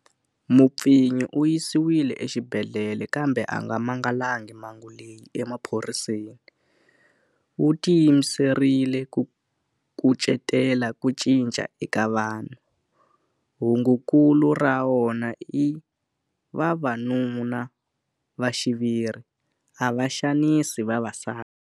Mupfinyi u yisiwile exibedhlele kambe a nga mangalangi mhangu leyi emaphoriseni. Wu tiyimiserile ku kucetela ku cinca eka vanhu. Hungukulu ra wona i Vavanu na va xiviri a va xanisi vavasati.